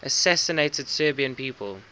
assassinated serbian people